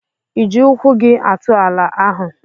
Ịji ụkwụ gị atụ ala ahụ?